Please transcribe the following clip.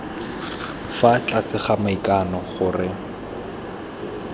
fa tlase ga maikano gore